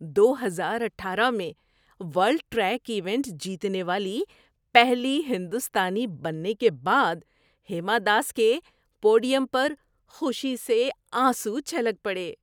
دو ہزار اٹھارہ میں ورلڈ ٹریک ایونٹ جیتنے والی پہلی ہندوستانی بننے کے بعد ہیما داس کے پوڈیم پر خوشی سے آنسو چھلک پڑے۔